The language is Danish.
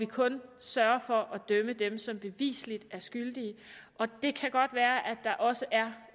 kun sørger for at dømme dem som bevisligt er skyldige det kan godt være at der også